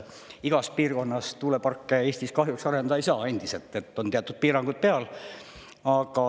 Igas piirkonnas tuuleparke Eestis kahjuks arendada ei saa, endiselt on teatud piirangud peal.